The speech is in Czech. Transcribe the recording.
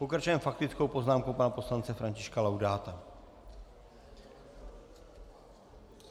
Pokračujeme faktickou poznámkou pana poslance Františka Laudáta.